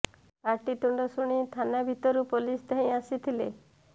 ପାଟି ତୁଣ୍ଡ ଶୁଣି ଥାନା ଭିତରୁ ପୁଲିସ୍ ଧାଇଁ ଆସିଥିଲେ